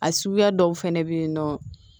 A suguya dɔw fɛnɛ bɛ yen nɔ